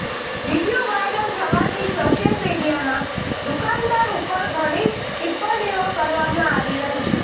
video viral થવાથી social મીડિયામાં દુકાનદાર ઉપર ઘણી ટીપ્પણીઓ કરવામાં આવી રહી